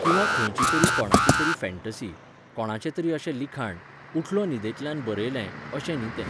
किंवा खंयची तरी कोणाची तरी फॅन्टसी, कोणाचें तरी अशें लिखाण, उठलो न्हिदेंतल्यान बरयलें, अशें न्ही तें